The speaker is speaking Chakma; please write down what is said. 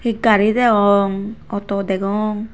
he gari deyong auto degong.